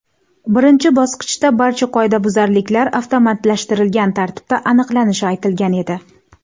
Birinchi bosqichda barcha qoidabuzarliklar avtomatlashtirilgan tartibda aniqlanishi aytilgan edi.